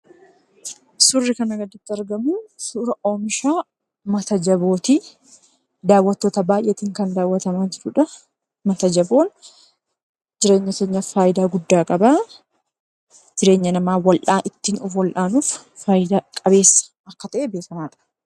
Suurri kanaa gaditti argamu suuraa oomisha mata jabooti. Daawwattoota baay'eetiin kan daawwatamaa jirudha. Mata jaboon jireenya keenyaaf fayidaa guddaa qaba. Jireenya namaa bal'aa ittiin wal'aanuuf fayidaa qabeessa akka ta'e beekamaadha.